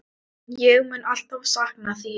Ég mun alltaf sakna þín.